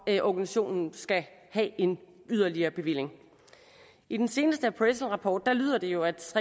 organisationen skal have en yderligere bevilling i den seneste appraisalrapport lyder det jo at